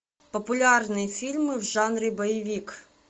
популярные фильмы в жанре боевик